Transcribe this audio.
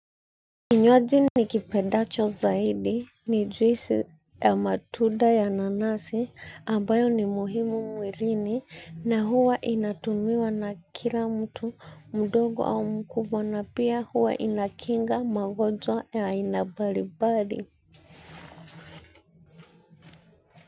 Kinywaji ni kipendacho zaidi ni juisi ya matunda ya nanasi ambayo ni muhimu mwilini na huwa inatumiwa na kila mtu mdogo au mkubwa na pia huwa inakinga magonjwa ya aina mbalibali.